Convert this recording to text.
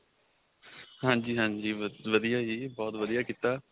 ਹਾਂਜੀ ਹਾਂਜੀ ਵਧੀਆ ਬਹੁਤ ਵਧੀਆ ਕੀਤਾ